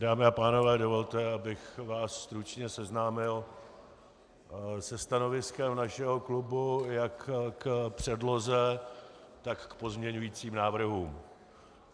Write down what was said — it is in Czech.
Dámy a pánové, dovolte, abych vás stručně seznámil se stanoviskem našeho klubu jak k předloze, tak k pozměňovacím návrhům.